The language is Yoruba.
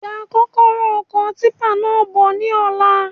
Gba kọ́kọ́rọ́ ọkọ̀ típà náà bọ ní ọ̀la